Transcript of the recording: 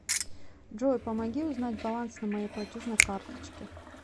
джой помоги узнать баланс на моей платежной карточке